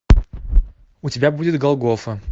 у тебя будет голгофа